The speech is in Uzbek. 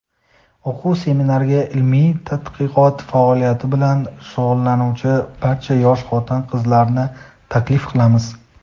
O‘quv-seminarga ilmiy tadqiqot faoliyati bilan shug‘ullanuvchi barcha yosh xotin-qizlarni taklif qilamiz!.